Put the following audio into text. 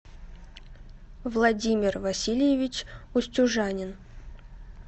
владимир васильевич устюжанин